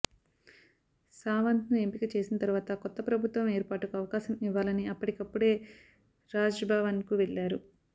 సావంత్ను ఎంపిక చేసిన తరువాత కొత్త ప్రభుత్వం ఏర్పాటుకు అవకాశం ఇవ్వాలని అప్పటికప్పుడే రాజ్భవన్కు వెళ్లారు